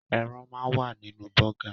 Ẹran máa ń wà nínú bọ́gà.